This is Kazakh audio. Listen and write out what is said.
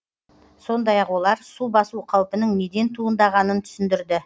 сондай ақ олар су басу қаупінің неден туындағанын түсіндірді